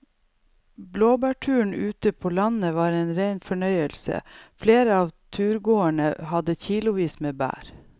Blåbærturen ute på landet var en rein fornøyelse og flere av turgåerene hadde kilosvis med bær.